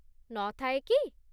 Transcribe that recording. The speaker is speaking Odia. ନ ଥାଏ କି?